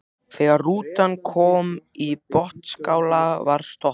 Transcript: Þegar rútan kom í Botnsskála var stoppað.